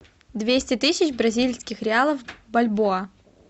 двести тысяч бразильских реалов в бальбоа